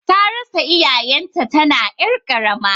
Tarasa iyayen ta tana ƴar karama